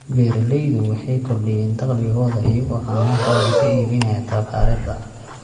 Beeraleydu waxay kordhiyaan dakhligooda iyagoo caanahooda ka iibinaya tafaariiqda.